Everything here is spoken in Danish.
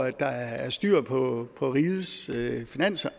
at der er styr på rigets finanser og